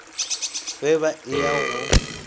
ge ba e ya go